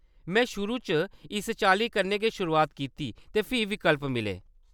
में शुरू च इस चाल्ली कन्नै गै शुरुआत कीती ते फ्ही विकल्प मिले।